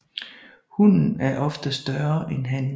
Hunnen er ofte også større end hannen